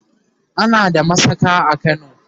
ana da masaka a kano